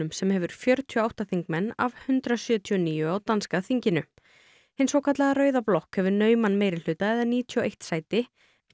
sem hefur fjörutíu og átta þingmenn af hundrað sjötíu og níu á danska þinginu hin svokallaða rauða blokk hefur nauman meirihluta eða níutíu og eitt sæti